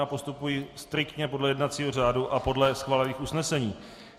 Já postupuji striktně podle jednacího řádu a podle schválených usnesení.